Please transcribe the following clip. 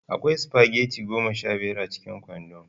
Akwai spaghetti goma sha biyar a cikin kwandon.